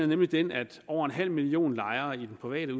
nemlig den at over en halv million lejere i de private